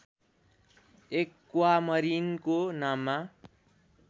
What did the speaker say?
एक्वामरीनको नाममा